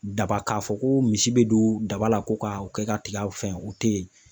Daba k'a fɔ ko misi bɛ don daba la ko k'a kɛ ka tigaw fɛn, u tɛ yen.